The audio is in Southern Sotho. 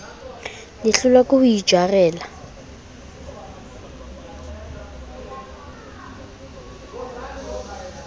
le hlolwa ke ho itjarela